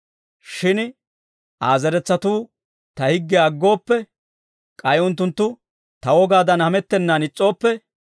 «Shin Aa zeretsatuu ta higgiyaa aggooppe, k'ay unttunttu ta wogaadan hamettennan is's'ooppe,